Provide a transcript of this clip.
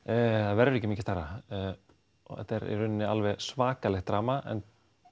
það verður ekki mikið stærra og þetta er í raun alveg svakalegt drama en